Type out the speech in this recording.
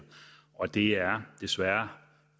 og det er desværre